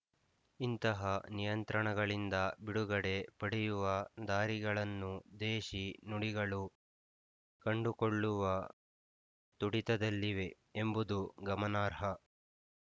ಇಂತಹ ನಿಯಂತ್ರಣಗಳಿಂದ ಬಿಡುಗಡೆ ಪಡೆಯುವ ದಾರಿಗಳನ್ನು ದೇಶಿ ನುಡಿಗಳು ಕಂಡುಕೊಳ್ಳುವ ತುಡಿತದಲ್ಲಿವೆ ಎಂಬುದು ಗಮನಾರ್ಹ